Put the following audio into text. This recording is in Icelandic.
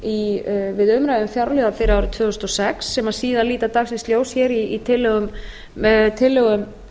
við umræðu um fjárlög fyrir árið tvö þúsund og sex sem síðan líta dagsins ljós hér í tillögum